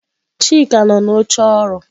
Chika nọ n'oche ọrụ.